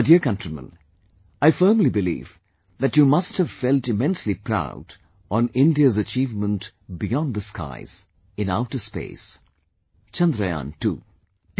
My dear countrymen, I firmly believe that you must have felt immensely proud on India's achievement beyond the skies... in outer space... Chandrayaan II